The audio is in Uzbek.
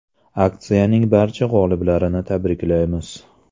Aksiyaning barcha g‘oliblarini tabriklaymiz.